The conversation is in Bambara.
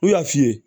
U y'a f'i ye